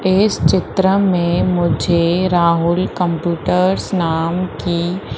इस चित्र में मुझे राहुल कंप्यूटर्स नाम की--